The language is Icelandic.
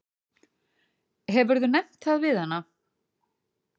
Hefurðu nefnt það við hana?